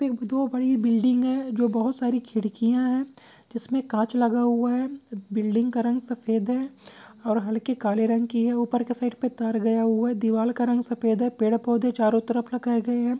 दो बड़ी बिल्डिंग है जो बहुत सारी खिड़किया है जिसमे काच लगा हुआ है बिल्डिंग का रंग सफ़ेद है और हलके काले रंग के है ऊपर के साइड पे दीवार का रंग सफ़ेद है पेड़-पौधे चरो तरफ लगाए गए है।